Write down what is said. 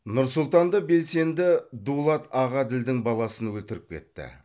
нұр сұлтанда белсенді дулат ағаділдің баласын өлтіріп кетті